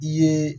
I ye